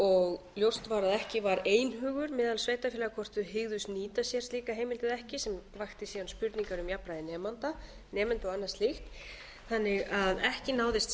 og ljóst var að ekki var einhugur meðal sveitarfélaga hvort þau hygðust nýta sér slíka heimild eða ekki sem vakti síðan spurningar um jafnræði nemenda og annað slíkt þannig að ekki náðist